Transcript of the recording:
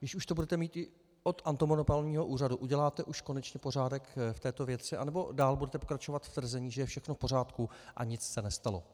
Když už to budete mít i od antimonopolního úřadu, uděláte už konečně pořádek v této věci, nebo dál budete pokračovat v tvrzení, že je všechno v pořádku a nic se nestalo?